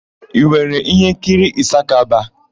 I nwere íhénkiri Ịsakaba?